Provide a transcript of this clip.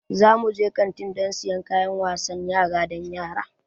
Za mu je kaslnti don siyan kayan wasan yara don yara.